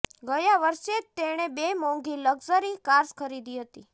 ગયા વર્ષે જ તેણે બે મોંઘી લક્ઝરી કાર્સ ખરીદી હતી